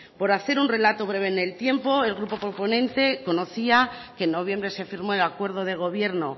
por hacer un relato breve en el tiempo el grupo proponente conocía que en noviembre se firmó el acuerdo de gobierno